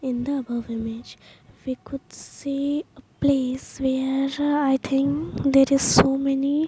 In the above image we could see a place where I think there is so many --